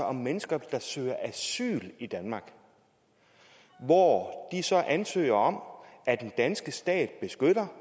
om mennesker der søger asyl i danmark hvor de så ansøger om at den danske stat beskytter